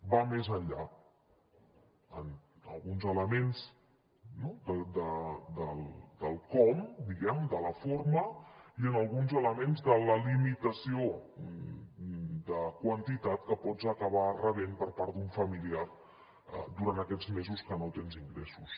va més enllà en alguns elements del com de la forma i en alguns elements de la limitació de quantitat que pots acabar rebent per part d’un familiar durant aquests mesos que no tens ingressos